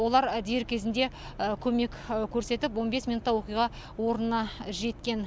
олар дер кезінде көмек көрсетіп он бес минутта оқиға орнына жеткен